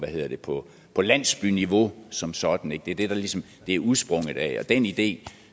på landsbyniveau som sådan det er det det ligesom er udsprunget af og den idé